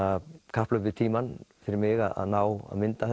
kapphlaup við tímann fyrir mig að ná að mynda